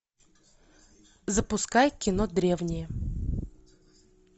запускай кино древние